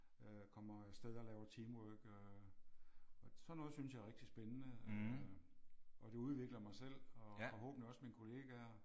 Øh kommer afsted og laver teamwork øh og sådan noget synes jeg er rigtig spændende øh. Og det udvikler mig selv og forhåbentlig også mine kollegaer